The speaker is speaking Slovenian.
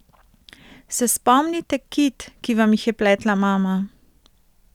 Se spomnite kit, ki vam jih je pletla mama?